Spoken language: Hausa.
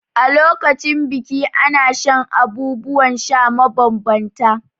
A lokacin biki ana shan abubuwan sha mabambanta.